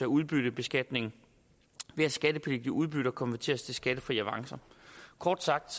udbyttebeskatningen ved at skattepligtige udbytter konverteres til skattefrie avancer kort sagt